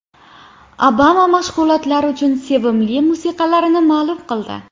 Obama mashg‘ulotlar uchun sevimli musiqalarini ma’lum qildi.